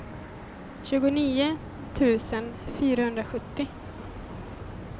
tjugonio tusen fyrahundrasjuttio